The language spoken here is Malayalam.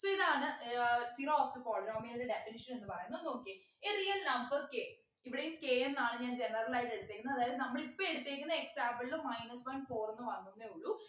അപ്പൊ ഇതാണ് ഏർ zero of the polynomial ൻ്റെ definition എന്ന് പറയുന്നത് നോക്കിയേ A real number k ഇവിടെയും k എന്നാണ് ഞാൻ general ആയിട്ട് എടുത്തേക്കുന്നെ അതായത് നമ്മൾ ഇപ്പൊ എടുത്തേക്കുന്നെ example ലു minus one four ന്നു വന്ന് ന്നെ ഉള്ളു